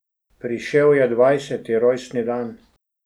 Prišel je dvajseti rojstni dan.